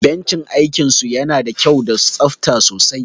Benchi aikin su yana da kyau da tsafta sosai